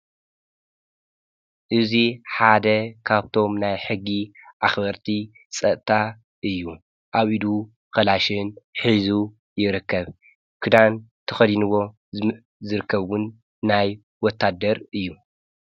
እእዙይ ሓደ ኻብቶም ናይ ሕጊ ኣኽበርቲ ጸእታ እዩ ኣብ ኢዱ ኸላሽን ኂዙ ይርከብ ክዳን ተኸዲንዎ ዝርከውን ናይ ወታደር እዩ።